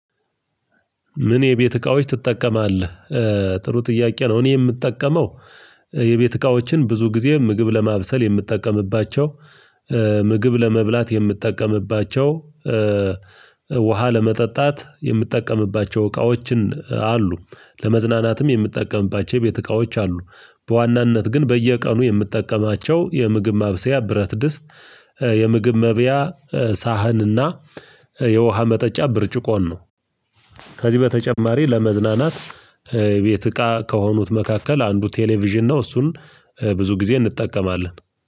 ምን የቤት እቃዎች ትጠቀማለህ? ጥሩ ጥያቄ ነው እኔ የምጠቀመው የቤት እቃዎችን ብዙ ጊዜ ምግብ ለማብሰል የምትጠቀምባቸው ምግብ ለመብላት የምትጠቀምባቸው፣ ውሃ ለመጠጣት የምትጠቀምባቸው እቃዎችን አሉ ለመዝናናትም የምትጠቀምባቸው የቤት እቃዎች አሉ፤ በዋናነት ግን በየቀኑ የምትጠቀማቸው የምግብ ማብሰያ ብረት ድስት የምግብ መብያ ሳህንና የውሃ መጠጫ ብርጭቆን ነው ከዚህ በተጨማሪ ለመዝናናት የቤት እቃ ከሆኑት መካከል አንዱ ቴሌቪዥን ነው እሱን ብዙ ጊዜ እንጠቀማለን